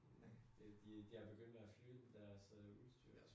Det jo det de jeg begynder at flytte på deres øh udstyr